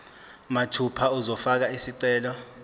mathupha uzofaka isicelo